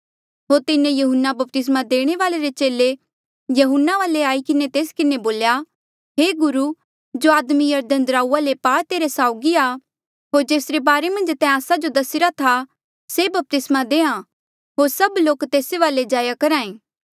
होर तिन्हें यहून्ना बपतिस्मा देणे वाल्ऐ रे चेले यहून्ना वाले आई किन्हें तेस किन्हें बोल्या हे गुरु जो आदमी यरदन दराऊआ रे पार तेरे साउगी था होर जेसरे बारे मन्झ तैं आस्सा जो दसिरा था से बपतिस्मा देंहां होर सभ लोक तेस वाले जाया करहा ऐें